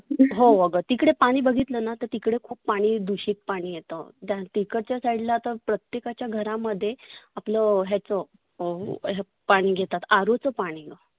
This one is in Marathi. हो आग तिकडे पाणि बघितलना तर तिकडे खुप पाणि दुषित येतं. तिकडच्या side ला तर प्रत्येकाच्या घरामध्ये आपलं ह्याचं अं पाणि घेतात RO चं पाणि